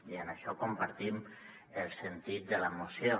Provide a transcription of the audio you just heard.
i en això compartim el sentit de la moció